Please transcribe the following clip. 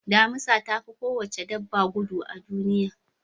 Damisa ta fi kowace dabba gudu a duniya.